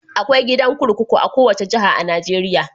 Akwai gidan kurkuku a kowace jiha a Najeriya.